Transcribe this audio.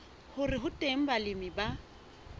hore ho teng balemi ba